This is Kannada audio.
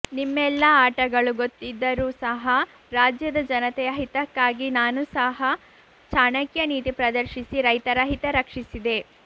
ನಿಮ್ಮೆಲ್ಲಾ ಆಟಗಳು ಗೊತ್ತಿದ್ದರೂ ಸಹ ರಾಜ್ಯದ ಜನತೆಯ ಹಿತಕ್ಕಾಗಿ ನಾನು ಸಹ ಚಾಣಕ್ಯ ನೀತಿ ಪ್ರದರ್ಶಿಸಿ ರೈತರ ಹಿತ ರಕ್ಷಿಸಿದೆ